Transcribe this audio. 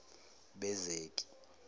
bezeki